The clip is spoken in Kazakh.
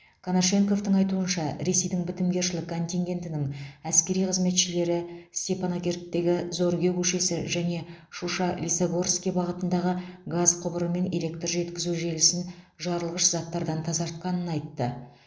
конашенковтың айтуынша ресейдің бітімгершілік контингентінің әскери қызметшілері степанакерттегі зорге көшесі және шуша лисогорский бағытындағы газ құбыры мен электр жеткізу желісін жарылғыш заттардан тазартқанын айтты